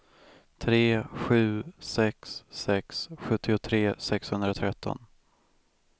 tre sju sex sex sjuttiotre sexhundratretton